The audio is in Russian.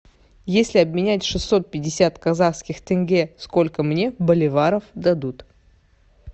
если обменять шестьсот пятьдесят казахских тенге сколько мне боливаров дадут